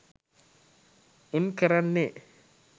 උන් කරන්නේ